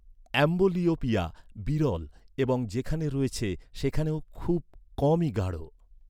Amblyopia বিরল এবং যেখানে রয়েছে, সেখানেও খুব কমই গাঢ়।